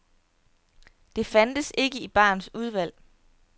Det fandtes ikke i barens udvalg.